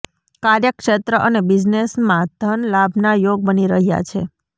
કાર્યક્ષેત્ર અને બિઝનેસમાં ધન લાભના યોગ બની રહ્યા છે